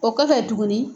O kɔfɛ tuguni